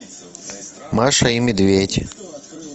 маша и медведь